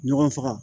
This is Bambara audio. Ɲɔgɔn faga